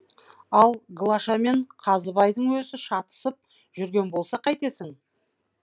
ал глашамен қазыбайдың өзі шатысып жүрген болса қайтесің